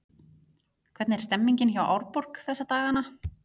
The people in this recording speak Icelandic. Hvernig er stemmningin hjá Árborg þessa dagana?